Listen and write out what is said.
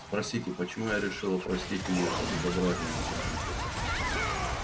спросите почему я решила простить ему это безобразие на компьютере